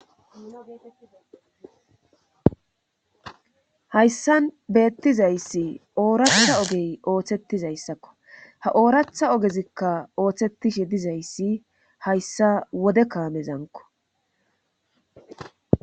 hayssan beettizayssi ooratha ogey ooththettizayssakko ha ooratha ogezikka ooththetishe dizayssi hayssa wode kaamezanko